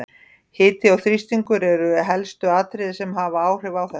Hiti og þrýstingur eru helstu atriðin sem hafa áhrif á þetta.